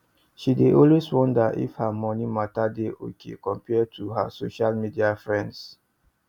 she dey always wonder if her moni matter dey okay compared to her social media friends